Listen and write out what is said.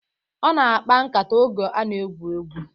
Ọ na-akpa nkata oge a na-egwu egwu